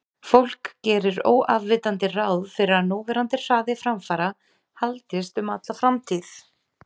fólk gerir óafvitandi ráð fyrir að núverandi hraði framfara haldist um alla framtíð